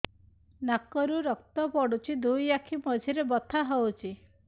ନାକରୁ ରକ୍ତ ପଡୁଛି ଦୁଇ ଆଖି ମଝିରେ ବଥା ହଉଚି